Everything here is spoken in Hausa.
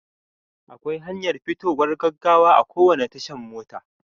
Akwai hanyar fitowar gaggawa a kowane tashan mota.